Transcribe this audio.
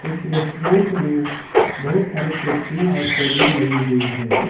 इस रेस्टोरेंट में बहुत सारे कुर्सियां और टेबले लगी हुई है।